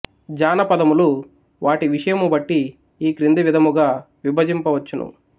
జానపదములు వాటి విషయము బట్టి ఈ క్రింది విధముగా విభజింపవచ్చును